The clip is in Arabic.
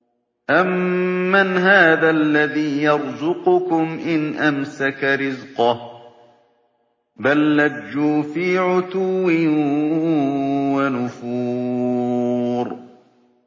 أَمَّنْ هَٰذَا الَّذِي يَرْزُقُكُمْ إِنْ أَمْسَكَ رِزْقَهُ ۚ بَل لَّجُّوا فِي عُتُوٍّ وَنُفُورٍ